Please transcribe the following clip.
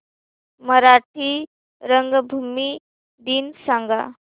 मराठी रंगभूमी दिन सांगा